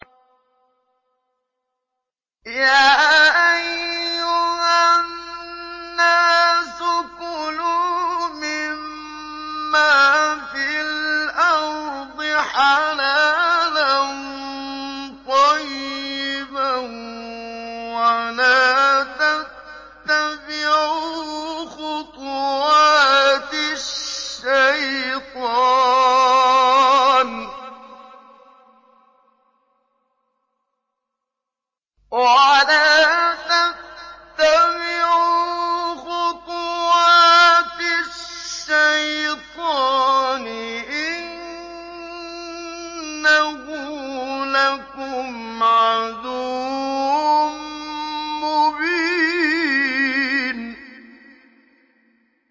يَا أَيُّهَا النَّاسُ كُلُوا مِمَّا فِي الْأَرْضِ حَلَالًا طَيِّبًا وَلَا تَتَّبِعُوا خُطُوَاتِ الشَّيْطَانِ ۚ إِنَّهُ لَكُمْ عَدُوٌّ مُّبِينٌ